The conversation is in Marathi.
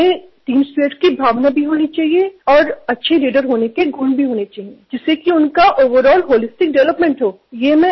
त्यांच्यात संघभावना असायला हवी चांगले नेतृत्वगुण असायला हवेत ज्यामुळे त्यांचा सर्वांगिण विकासही होईल